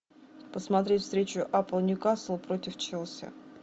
посмотреть встречу апл ньюкасл против челси